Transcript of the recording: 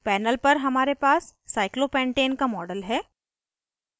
panel पर हमारे पास cyclopentane का model है